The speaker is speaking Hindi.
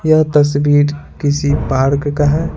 यह तस्वीर किसी पार्क का है।